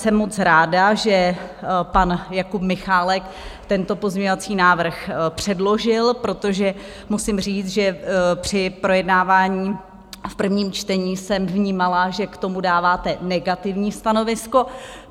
Jsem moc ráda, že pan Jakub Michálek tento pozměňovací návrh předložil, protože musím říct, že při projednávání v prvním čtení jsem vnímala, že k tomu dáváte negativní stanovisko.